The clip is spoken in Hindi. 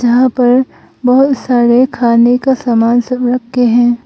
यहां पर बहोत सारे खाने का सामान सब रखे हैं।